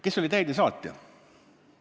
Kes oli täidesaatja?